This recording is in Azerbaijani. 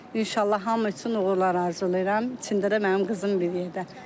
İnşallah hamı üçün uğurlar arzulayıram, içində də mənim qızım bir yerdə.